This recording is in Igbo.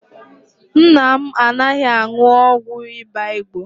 Nna m anaghị aṅụ ụgwọ ịba Igbo.